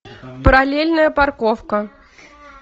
параллельная парковка